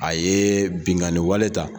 A ye binganni wale ta